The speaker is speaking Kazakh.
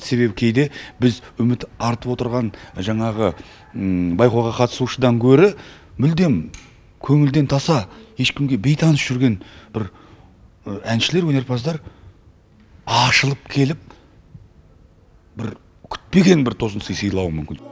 себебі кейде біз үміт артып отырған жаңағы байқауға қатысушыдан гөрі мүлдем көңілден таса ешкімге бейтаныс жүрген бір әншілер өнерпаздар ашылып келіп бір күтпеген бір тосын сый сыйлауы мүмкін